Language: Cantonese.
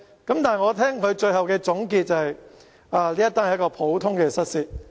但是，我聽到他的總結，指這是一宗普通的失竊案。